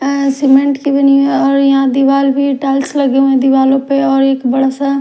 आ cement की बनी हुई है और यहां दीवाल भी टाइल्स लगे हुए हैं दीवालों पर और एक बड़ा सा--